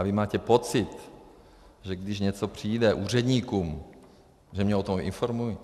A vy máte pocit, že když něco přijde úředníkům, že mě o tom informují?